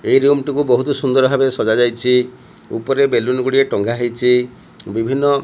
ଏହି ରୁମ୍ ଟିକୁ ବହୁତ ସୁନ୍ଦର ଭାବରେ ସଜାଯାଇଚି ଉପରେ ବେଲୁନ୍ ଗୁଡ଼ିଏ ଟଙ୍ଗା ହେଇଚି ବିଭିନ୍ନ --